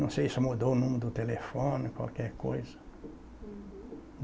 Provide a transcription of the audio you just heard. Não sei se mudou o número do telefone, qualquer coisa. Uhum.